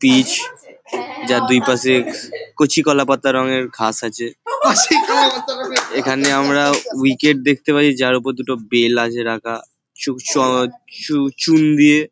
Pitch যার দুই পাশে কচি কলা পাতা রঙের ঘাস আছে। এখানে আমরা উইকেট দেখতে পারি যার ওপর দুটো বেল আছে রাখা চুক চ চু চুন দিয়ে --